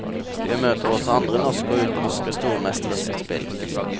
Vi møter også andre norske og utenlandske stormestres spill.